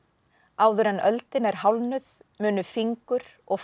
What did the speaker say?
áður en öldin er hálfnuð munu fingur og